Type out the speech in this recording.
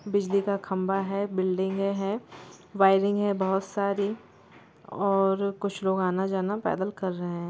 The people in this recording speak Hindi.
बिजली का खम्भा है बिल्डिंगे हैं वायरिंग है बहुत सारी और कुछ लोग आना जाना पैदल कर रहे हैं।